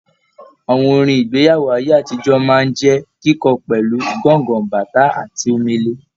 Àwọn orin igbeyawo aye-atijoọ máa n jẹ kíkọ pẹlu, gángan, bàtá àti Omele.